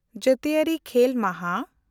ᱡᱟᱹᱛᱤᱭᱟᱹᱨᱤ ᱠᱷᱮᱞ ᱢᱟᱦᱟ